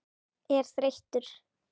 er þreyttur?